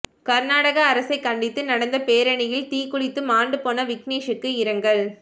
கர்நாடக அரசைக் கண்டித்து நடந்த பேரணியில் தீக்குளித்து மாண்டு போன விக்னேஷ்க்கு இரங்கல்